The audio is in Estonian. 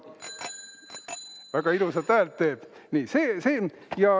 Väga ilusat häält teeb!